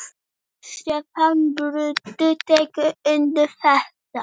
Stefán Broddi tekur undir þetta.